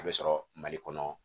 A bɛ sɔrɔ mali kɔnɔ